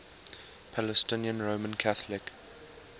palestinian roman catholic